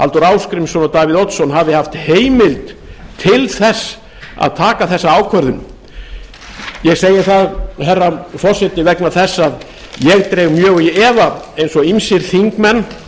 halldór ásgrímsson og davíð oddsson hafi haft heimild til þess að taka þessa ákvörðun ég segi það herra forseti vegna þess að ég dreg mjög í efa eins og ýmsir þingmenn